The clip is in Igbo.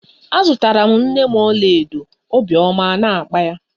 A zụtara m nne m ọlaedo obiọma a na-akpa ya.